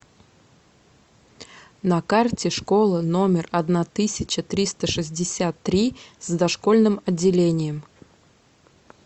на карте школа номер одна тысяча триста шестьдесят три с дошкольным отделением